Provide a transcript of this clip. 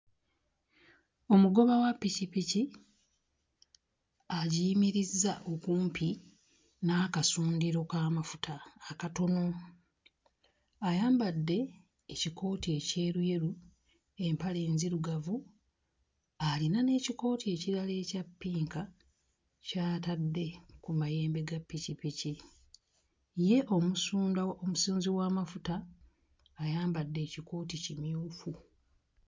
Omugoba wa ppikipiki agiyimirizza okumpi n'akasundiro k'amafuta akatono. Ayambadde ekikooti ekyeruyeru, empale nzirugavu, alina n'ekikooti ekirala ekya ppinka ky'atadde mu mayembe ga ppikipiki. Ye omusunda omusunzi w'amafuta ayambadde ekikooti kimyufu.